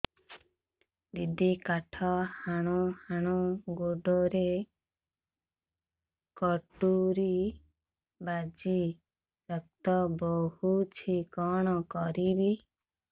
ଦିଦି କାଠ ହାଣୁ ହାଣୁ ଗୋଡରେ କଟୁରୀ ବାଜି ରକ୍ତ ବୋହୁଛି କଣ କରିବି